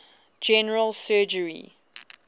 general surgery